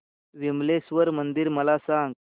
विमलेश्वर मंदिर मला सांग